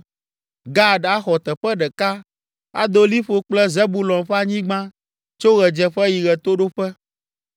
Gad axɔ teƒe ɖeka; ado liƒo kple Zebulon ƒe anyigba tso ɣedzeƒe yi ɣetoɖoƒe.